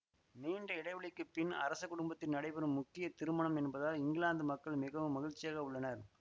நீண்ட இடைவெளிக்குப்பின் அரச குடும்பத்தில் நடைபெறும் முக்கிய திருமணம் என்பதால் இங்கிலாந்து மக்கள் மிகவும் மகிழ்ச்சியாக உள்ளனர்